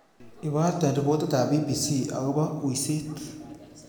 Iborte ripotitab b.b.c agoba uiset